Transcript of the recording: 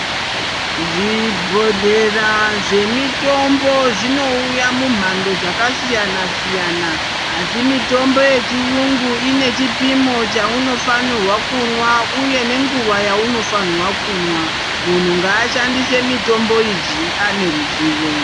Zvi bhodhlera zve mitombo zvinouya mu nhando dzaka siyana siyana asi mitombo yechiyungu ine chipimo chauno fanirwa kunwa uye nenguva yauno fanirwa kunwa munhu ngaashandise mitombo idzi ane ruzivo.